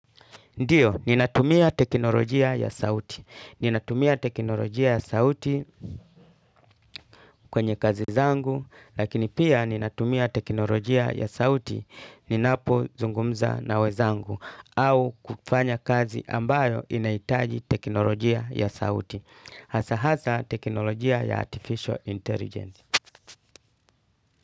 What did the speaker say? Ndiyo ninatumia teknolojia ya sauti. Ninatumia teknolojia ya sauti kwenye kazi zangu lakini pia ninatumia teknolojia ya sauti ninapozungumza na wenzangu au kufanya kazi ambayo inahitaji teknolojia ya sauti. Hasa hasa teknolojia ya artificial intelligence.